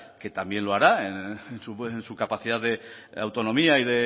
que también lo hará en su capacidad de autonomía